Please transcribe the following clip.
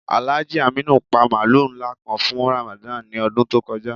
Alhaji Aminu pa mààlù nlá kàn fún Ramadan ni ọdún tó kọja.